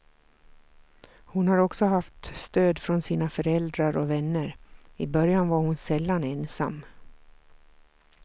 Hon har också haft stöd från sina föräldrar och vänner, i början var hon sällan ensam.